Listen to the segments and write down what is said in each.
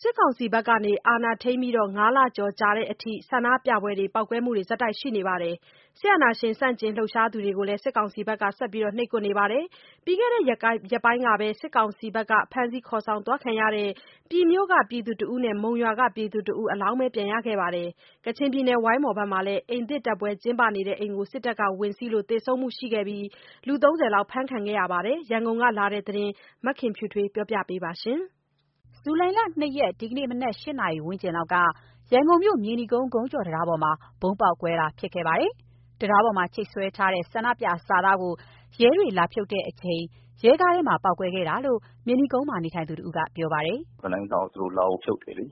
စစ်ကောင်စီက အာဏာထိန်းပြီး ၅ လကျော်ကြာတဲ့အထိ ဆန္ဒပြပွဲတွေ ပေါက်ကွဲမှုတွေ ဆက်တိုက်ရှိနေပြီး စစ်အာဏာရှင်ဆန့်ကျင်လှုပ်ရှားသူများကို စစ်ကောင်စီကဆက်ပြီး နှိပ်ကွပ်နေပါတယ်။ ပြီးခဲ့တဲ့ရက်ပိုင်းကပဲ စစ်ကောင်စီရဲ့ ဖမ်းဆီးခေါ်ဆောင်သွားခံရတဲ့ ပြည်မြို့ ပြည်သူတဦးနဲ့ မုံရွာက ပြည်သူတဦး အလောင်းပဲ ပြန်ရခဲ့ပါတယ်။ ကချင်ပြည်နယ် ဝိုင်းမော်မှာလည်း အိမ်သစ်တက်ပွဲကျင်းပနေတဲ့အိမ် စစ်တပ်က ဝင်စီးလို့ သေဆုံးမှုရှိခဲ့ပြီး ၃၀ အဖမ်းခံခဲ့ပါတယ်။ ရန်ကုန်ကလာတဲ့သတင်းကို မခင်ဖြူထွေး တင်ပြပေးပါမယ်။ ဇူလိုင် ၂ရက် ဒီကနေ့ မနက် ၈ နာရီဝန်းကျင်လောက်က ရန်ကုန်မြို့ မြေနီကုန်း ဂုံးကျော် တံတားပေါ်မှာ ဗုံးပေါက်ကွဲမှု ဖြစ်ခဲ့ပါတယ်။ တံတားပေါ်မှာ ချိတ်ဆွဲထားတဲ့ ဆန္ဒပြစာသားကို ရဲတွေ လာဖြုတ်တဲ့အချိန် ရဲကားထဲမှာပေါက်ကွဲခဲ့တာလို့ မြေနီကုန်းမှာ နေထိုင်သူတစ်ဦးက ပြောပါတယ်။ “ဗီနိုင်းကိုလာဖြုတ်တယ်လေ၊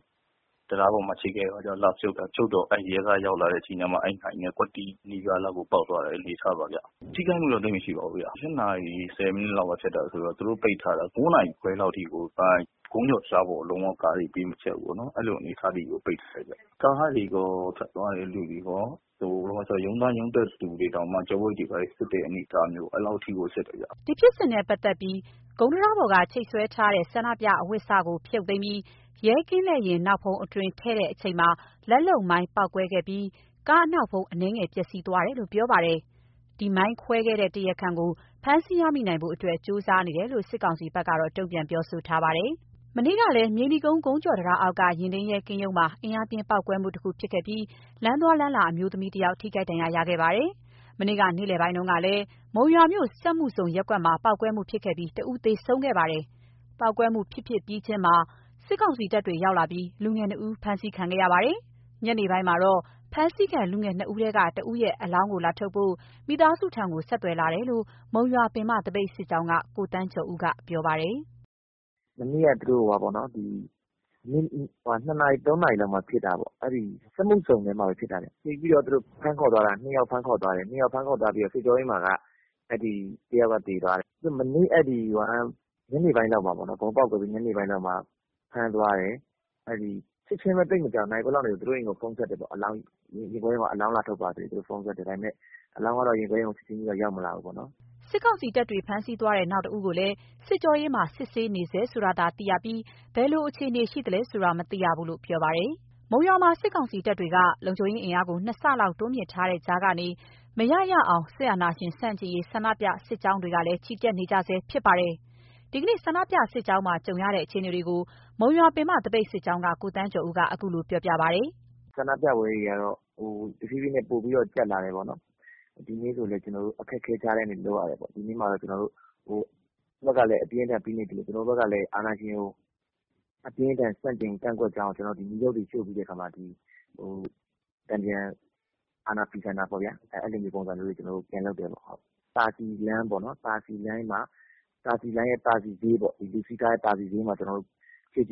တံတားပေါ်မှာ ချိတ်ထားတဲ့ ဗီနိုင်းကို အဲ့ဒါကို လာဖြုတ်တော့ ရဲကားရောက်လာတဲ့ အချိန်ကျမှ အဲ့ဟာနဲ့ ကွက်တိနီးပါးလောက်ကို ပေါက်သွားတဲ့ အနေအထားပါဗျ။ ထိခိုက်မှုတော့ သိပ်မရှိပါဘူးဗျ။ ၈ နာရီ ၁၀ မိနစ်လောက်က ဖြစ်တာဆိုတော့ သူတို့ လမ်းပိတ်ထားတာ ၉ နာရီ ခွဲလောက်ထိကို ဂုံးကျော်တံတားပေါ်ကိုလုံးဝ ကားတွေ ပေးမဖြတ်ဘူးပေါ့နော်၊ အဲ့လို အနေအထားထိကို ပိတ်ပစ်လိုက်တာဗျ။ ကားတွေကော ဖြတ်သွားတဲ့လူတွေကော အကုန်လုံးရုံးသွားရုံးတက်သူတွေကော ကျောပိုးအိတ်တွေဘာတွေ စစ်တဲ့အထိ၊ အဲ့လောက်ထိကို စစ်တယ်ဗျ။” ဒီဖြစ်စဉ်နဲ့ပတ်သက်ပြီး ဂုံးတံတားပေါ်က ချိတ်ဆွဲထားတဲ့ ဆန္ဒပြအဝတ်စကို ဖြုတ်သိမ်းပြီး ရဲကင်းလှည့်ယာဉ်နောက်ဖုံးအတွင်း ထည့်ချိန်မှာ လက်လုပ်မိုင်းပေါက်ကွဲခဲ့ပြီး ကားအနောက်ဖုံး အနည်းငယ် ပျက်စီးခဲ့တယ်လို့ဆိုပါတယ်။ ဒီမိုင်းဖောက်ခွဲခဲ့တဲ့ တရားခံကို ဖမ်းဆီးရမိနိုင်ဖို့ ကြိုးစားနေတယ်လို့ စစ်ကောင်စီဘက်ကတော့တုန့်ပြန်ပြောဆိုထားပါတယ်။ မနေ့ကလည်း မြေနီကုန်း၊ ဂုံးကျော်တံတားအောက်က ယာဉ်ထိန်းရဲကင်းရုံမှာ အင်အားပြင်းပေါက်ကွဲမှု တစ်ခုဖြစ်ခဲ့ပြီး လမ်းသွားလမ်းလာ အမျိုးသမီးတစ်ဦး ထိခိုက်ဒဏ်ရာရခဲ့ပါတယ်။ မနေ့က နေ့လည်ပိုင်းကတုန်းကလည်း မုံရွာမြို့ စက်မှုဇုံရပ်ကွက်မှာ ပေါက်ကွဲမှု ဖြစ်ခဲ့ပြီး တဦးသေဆုံးခဲ့ပါတယ်။ ပေါက်ကွဲမှု ဖြစ်ပြီးပြီးချင်းမှာ စစ်ကောင်စီတပ်တွေ ရောက်လာပြီး လူငယ်နှစ်ဦးကို ဖမ်းဆီးခံလိုက်ရပါတယ်။ ညနေပိုင်းမှာတော့ ဖမ်းဆီးခံ လူငယ်နှစ်ဦးထဲက တဦးရဲ့ အလောင်းကို လာထုတ်ဖို့ မိသားစုဆီကိုဆက်သွယ်လာတယ်လို့ မုံရွာပင်မသပိတ်စစ်ကြောင်း က ကိုသန်းကျော်ဦးက ပြောပြပါတယ်။ “မနေ့က နေ့လည် ၂နာရီ ၃ နာရီလောက်မှာ ပေါက်ကွဲမှု ဖြစ်တာပေါ့။ စက်မှုဇုံ(ရပ်ကွက်)ထဲမှာပဲ ဖြစ်တာဗျ။ ဖြစ်ပြီးတော့ သူတို့(စစ်ကောင်စီတပ်) ၂ ယောက်ဖမ်းခေါ်သွားတယ်။ ၂ ယောက်ဖမ်းခေါ်သွားပြီးတော့ အဲ့ဒီ စစ်ကြောရေးမှာ တယောက်သေတယ်။ မနေ့က ဗုံးပေါက်ကွဲပြီး ညနေပိုင်းလောက်မှာ ဖမ်းသွားတယ်။ ဖမ်းသွားပြီး သိပ်မကြာဘူး၊ ချက်ချင်းပဲ နာရီဝက်လောက်မှာ သူတို့အိမ်ကိုဖုန်းဆက်တယ်ပေါ့။ အလောင်းလာထုတ်ဖို့ ၊ ရင်ခွဲရုံမှာ အလောင်းလာထုတ်ပါဆိုပြီး၊ ဒါပေမယ့် အလောင်းက ရင်ခွဲရုံကို ချက်ချင်းတော့ ရောက်မလာဘူးပေါ့နော်။” စစ်ကောင်စီတပ်တွေ ဖမ်းဆီးသွားတဲ့ နောက်တစ်ဦးကိုလည်း စစ်ကြောရေးမှာ စစ်ဆေးနေဆဲ ဆိုတယ်လို့သာ သိရပြီး ဘယ်လိုအခြေအနေ ရှိသလဲဆိုတာကို မသိရဘူးလို့ ပြောပါတယ်။ မုံရွာမှာ စစ်ကောင်စီတပ်တွေက လုံခြုံရေးအင်အားကို ၂ ဆလောက် တိုးမြင့်ထားတဲ့ကြားကနေ မရရအောင် စစ်အာဏာရှင်ဆန့်ကျင်ရေး ဆန္ဒပြ စစ်ကြောင်းတွေ ချီတက်နေကြဆဲဖြစ်ပါတယ်။ ဒီနေ့ ဆန္ဒပြစစ်ကြောင်းမှာ ကြုံရတဲ့အခြေအနေတွေကို မုံရွာပင်မ သပိတ်စစ်ကြောင်းက ကိုသန်းကျော်ဦးက အခုလိုပြောပြပါတယ်။ “ဆန္ဒပြပွဲတွေကတော့ တဖြည်းဖြည်းနဲ့ ပိုပြီးတော့ ကြပ်လာတယ်ပေါ့နော်။ ကျွန်တော်တို့ ဒီနေ့လည်း အခက်အခဲကြားကနေ လုပ်ရတယ်ပေါ့။ တပ်ကလည်း အပြင်းအထန်ဖိနှိပ်သလို ကျွန်တော်တို့ကလည်း အာဏာရှင်ကို အပြင်းအထန် ဆန့်ကျင်ကန့်ကွက်ကြောင်း ကျွန်တော်တို့က တန်ပြန် အာဏာဖီဆန်တာပေါ့ဗျာ၊ အဲ့လိုမျိုးတွေ ကျွန်တော်တို့ လုပ်ကြပါတယ်။ သာစည်လမ်းရဲ့ သာစည်ဈေးမှာ ကျွန်တော်တို့ ပျော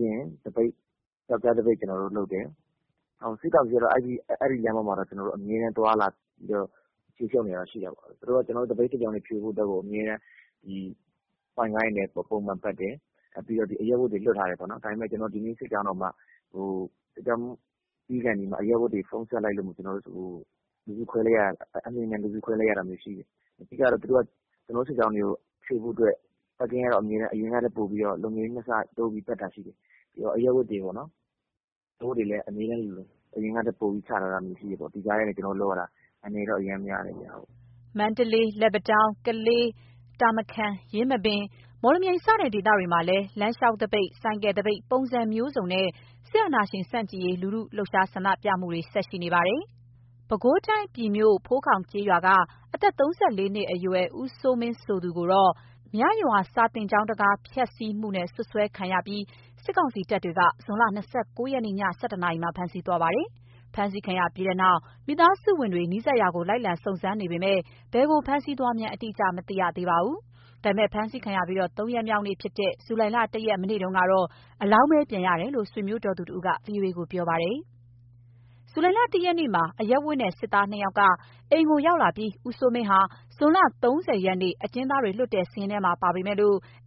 က်ကြားသပိတ်လုပ်တယ်။ စစ်ကောင်စီတပ်တွေကတော့ အဲ့ဒီလမ်းမှာ အမြဲသွားလာပြီးတော့ ခြေရှုပ်နေတာတော့ ရှိတာပေါ့။ သူတို့က ကျွန်တော်တို့ သပိတ်စစ်ကြောင်းတွေ ဖြိုဖို့အတွက်ကို ပုံမှန်ပတ်တယ်၊ အရပ်ဝတ်တွေနဲ့ လွတ်ထားတယ်ပေါ့။ ကျွန်တော်တို့ ဒီနေ့ သပိတ်စစ်ကြောင်းတောင်မှ ပြီးခါနီးမှာ အရပ်ဝတ်တွေ ဖုန်းဆက်လိုက်လို့ အလျင်အမြန်လူစုခွဲလိုက်ရတာမျိုးရှိတယ်။ ပြီးတော့ သူတို့က ကျွန်တောတို့ စစ်ကြောင်းတွေကို ဖြိုဖို့အတွက် ဆိုင်ကယ်တွေနဲ့ အရင်ကထက်ပိုပြီးတော့ လုံခြုံရေး ၂ ဆတိုးပြီးတော့ ပတ်တာရှိတယ်။ အရပ်ဝတ်တွေလည်း အရင်ကထက် ပိုချထားတာရှိတော့ ဒီကြားထဲကနေ ကျွန်တော်တို့ လုပ်ရတာက အန္တရာယ်တော့အရမ်းများတယ်ဗျ။” မန္တလေး၊ လက်ပံတောင်း၊ ကလေး၊ တာမခန်၊၊ ယင်းမပင်၊ မော်လမြိုင် စတဲ့ဒေသတွေမှာလည်း လမ်းလျှောက်သပိတ် ဆိုင်ကယ်သပိတ် ပုံစံမျိုးစုံ နဲ့ စစ်အာဏာရှင်ဆန့်ကျင်ရေးလူထုက ဆန္ဒပြနေကြပါတယ်။ ပဲခူးတိုင်း ပြည်မြို့၊ ဖိုးခေါင်ကျေးရွာက အသက် ၃၄ နှစ်အရွယ် ဦးစိုးမင်းဆိုသူဟာ မြရွာစာသင်ကျောင်းတံခါးမှန်ဖျက်ဆီးတယ်ဆိုပြီး စွပ်စွဲခံရလို့ စစ်ကောင်စီတပ်တွေက ဇွန်လ ၂၉ ရက်နေ့ ည ၁၁ နာရီက ဖမ်းဆီးသွားပါတယ်။ ဖမ်းဆီးခံရပြီးနောက် မိသားစုဝင်တွေ နီးစပ်ရာကို လိုက်လံစုံစမ်းနေပေမဲ့ ဘယ်ကိုဖမ်းဆီးသွားမှန်း အတိအကျမရခဲ့ပါဘူး ဒါပေမဲ့ ဖမ်းဆီးခံရပြီး သုံးရက်မြောက်နေ့ဖြစ်တဲ့ ဇူလိုင် ၁ရက် မနေ့ကတော့ အလောင်းပဲပြန်ရတယ်လို့ ဆွေမျိုးတော်သူတစ်ဦးက ဗွီအိုအေကို ပြောပါတယ်။ ဇူလိုင် ၁ ရက်နေ့မှာ အရပ်ဝတ်နဲ့ စစ်သားနှစ်ယောက်က အိမ်ကိုရောက်လာပြီး ဦးစိုးမင်း ဟာ ဇွန် ၃၀ ရက်နေ့ အကျဉ်းသားတွေ လွှတ်တဲ့စာရင်းထဲမှာ ပါပေမယ့်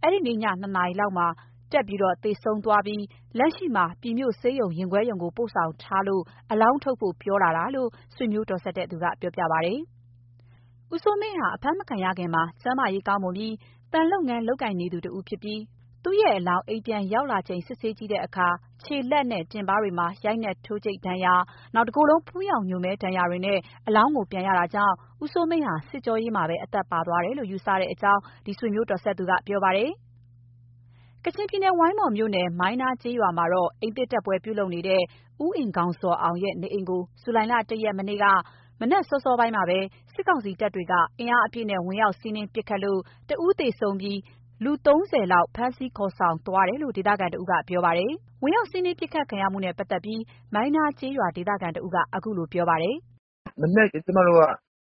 အဲ့ဒီည ၂ နာရီလောက်မှာ တက်ပြီးတော့ သေဆုံးသွားပြီး လက်ရှိမှာ ပြည်မြို့ဆေးရုံရင်ခွဲရုံကို ပို့ဆောင်ထားလို့ အလောင်းထုတ်ဖို့ ပြောလာတယ် လို့ ဆွေမျိုးတော်စပ်သူက ပြောပြပါတယ်။ ဦးစိုးမင်းဟာ အဖမ်းမခံရခင်မှာ ကျန်းမာရေးကောင်းမွန်ပြီး သံလုပ်ငန်း လုပ်ကိုင်နေသူ တဦး ဖြစ်ပြီး သူ့ရဲ့ အလောင်း အိမ်ပြန်ရောက်လာချိန် စစ်ဆေးကြည့်တဲ့အခါ ခြေ၊ လက်၊ တင်ပါးတွေမှာ ရိုက်နှက် ထိုးကြိတ်ဒဏ်ရာ၊ တကိုယ်လုံး ဖူးယောင်ညိုမဲဒဏ်ရာတွေနဲ့ အလောင်းကိုပြန်ရတာကြောင့် ဦးစိုးမင်းဟာ စစ်ကြောရေးမှာပဲ အသက်ပါသွားတယ်လို့ ယူဆကြောင်း ဆွေမျိုးတော်စပ်သူက ပြောပါတယ်။ ကချင်ပြည်နယ် ဝိုင်းမော်မြို့နယ်၊ မိုင်းနားကျေးရွာမှာ အိမ်သစ် တက်ပွဲပြုနေတဲ့ ဦးအင်ဂေါင်ဇော်အောင်ရဲ့ နေအိမ်ကို ဇူလိုင် ၁ ရက် မနေ့က မနက်အစောပိုင်းမှာ စစ်ကောင်စီတပ်တွေက အင်အားအပြည့်နဲ့ ဝင်ရောက်စီးနင်း ပစ်ခတ်လို့ တဦးသေဆုံးပြီး လူ ၃၀ ဦးလောက် ဖမ်းဆီးခေါ်သွားတယ်လို့ ဒေသခံတစ်ဦးက ပြောပါတယ်။ ဝင်ရောက်စီးနင်း ပစ်ခတ်ခံရမှုနဲ့ ပတ်သက်ပြီး မိုင်းနားကျေးရွာဒေသတစ်ဦးက အခုလို ပြောပါတယ်။ “မနက် ကျမတို့က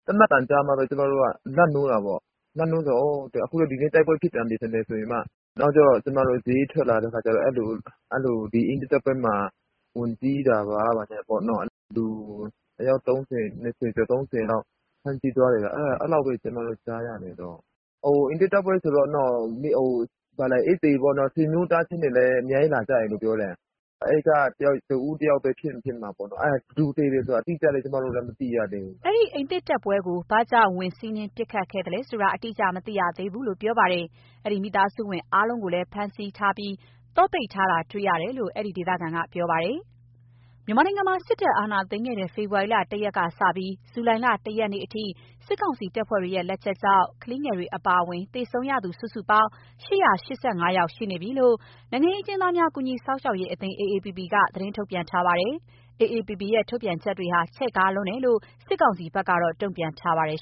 သေနတ်သံကြားမှာပဲ ကျမတို့က လန့်နိုးတာပေါ့၊ လန့်နိုးတယ်ဆိုတော့ အော် အခုလည်းဒီနေ့တိုက်ပွဲဖြစ်ပြန်ပြီးထင်တယ်ဆိုပြီးမှာ နောက်တော့ ကျမတို့ဈေးထွက်လာတဲ့အခါကျတော့ အဲ့လို အဲ့လိုဒီအိမ်တက်ပွဲမှာ ဝင်ဆီးတာပေါ့ ဘာညာပေ့ါနော်၊ လူ အယောက် ၃၀၊ ၂၀ ကျော် ၃၀ လောက် ဖမ်းဆီးသွားတယ် အဲ့လောက်ပဲကျမကြားရတယ်၊ အိမ်သစ်တက်ပွဲဆိုတော့ ။ အိမ်သည်ပေါ့နော်။ ဆွေမျိုးသားချင်းလည်း အများကြီးလာကြတယ်လို့ ပြောတယ်၊ အဲ့ကတစ်ဦးတစ်ယောက်ပဲဖြစ်မယ်မှာပေါ့နော် ဘယ်သူသေတယ်ဆိုတာ အတိအကျတော့ ကျမလည်း မသိရသေးဘူး။” အဲ့ဒီအိမ်သစ်တက်ပွဲကို ဘာကြောင့် ဝင်စီးနင်း ပစ်ခတ်ခဲ့သလဲဆိုတာ အတိအကျ မသိရသေးဘူးလို့ ပြောပါတယ်။ အဲ့ဒီအိမ်မိသားစုဝင်အားလုံးကိုလည်း ဖမ်းဆီးခံထားရပြီး သော့ပိတ်ထားတာ တွေ့ရတယ်လို့ အဲ့ဒီဒေသခံက ဆိုပါတယ်။ မြန်မာနိုင်ငံမှာ စစ်တပ်အာဏာသိမ်းခဲ့တဲ့ ဖေဖေါ်ဝါရီလ ၁ ရက် ကစပြီး ဇူလိုင်လ ၁ ရက်နေ့ အထိ စစ်ကောင်စီတပ်ဖွဲ့ရဲ့ လက်ချက်ကြောင့် ကလေးငယ်တွေ အပါအဝင် သေဆုံးခဲ့ရသူစုစုပေါင်းက ၈၈၅ ယောက် ရှိနေပြီလို့ နိုင်ငံရေးအကျဉ်းသားများ ကူညီစောင့်ရှောက်ရေး အသင်း AAPP က သတင်းထုတ်ပြန်ထားပါတယ်။ AAPP ရဲ့ ထုတ်ပြန်ချက်တွေဟာ ချဲ့ကားလွန်းတယ်လို့လည်း စစ်ကောင်စီဘက်က တုန့်ပြန်ထားပါတယ်